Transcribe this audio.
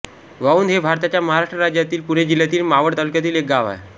वाउंद हे भारताच्या महाराष्ट्र राज्यातील पुणे जिल्ह्यातील मावळ तालुक्यातील एक गाव आहे